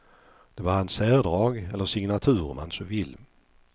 Det var hans särdrag, eller signatur om man så vill.